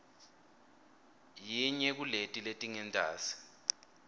yinye kuleti letingentasi